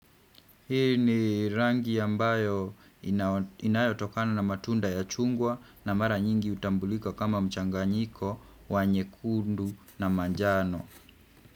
Hii ni rangi ambayo inayotokana na matunda ya chungwa na mara nyingi hutambulika kama mchanganyiko, wa nyekundu na manjano.